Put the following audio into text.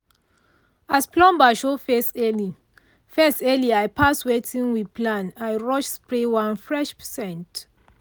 as plumber show face early face early pass wetin we plan i rush spray one fresh scent.